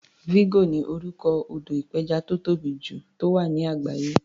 Vigo ni orúkọ odò ìpẹjà tó tóbì jù tó wà ní àgbáyé.